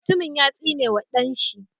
Mutumin ya tsine wa ɗan shi.